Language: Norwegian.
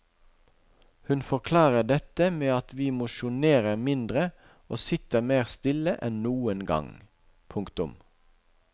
Hun forklarer dette med at vi mosjonerer mindre og sitter mer stille enn noen gang. punktum